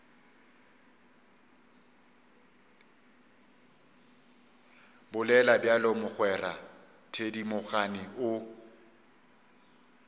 bolela bjalo mogwera thedimogane o